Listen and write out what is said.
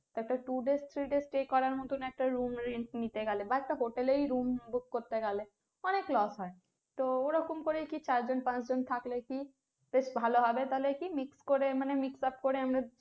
একটা two days three days stay করার মতো একটা room rent নিতে গেলে বা একটা hotel এই room book করতে গেলে অনেক loss হয়, তো ওরকম করে কি চার জন পাঁচ জন থাকলে কি বেশ ভালো হবে তাহলে কি mix করে মানে mix up করে আমরা সব